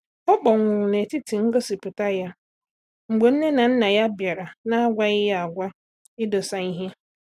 Ọ kpọnwụrụ na-etiti ngosipụta ya mgbe nne na nna ya bịara na agwaghí ya agwa idosa ihe